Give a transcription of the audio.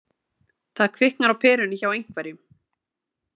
Það kviknar á perunni hjá einhverjum